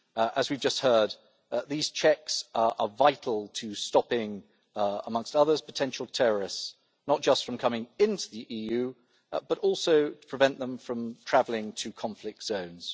As we have just heard, these checks are vital to stopping, amongst others, potential terrorists, not just from coming into the EU, but also to prevent them from travelling to conflict zones.